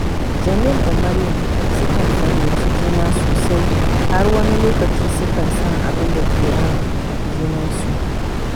Jamil da Maryam sukan fahimci juna sosai, har wani lokaci sukan san abinda ke ran junansu